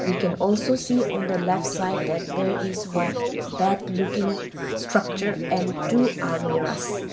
we can also see on the left side that there is one bed looking structure and two almiras .